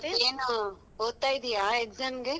ಮತ್ತೇನು ಓದ್ತಾ ಇದ್ದೀಯ exam ಗೆ.